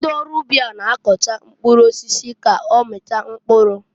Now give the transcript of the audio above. Ndị ọrụ ubi a n'akọcha mkpụrụ osisi k'ọmịta mkpụrụ.